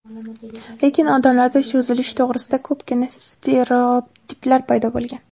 Lekin odamlarda cho‘zilish to‘g‘risida ko‘pgina stereotiplar paydo bo‘lgan.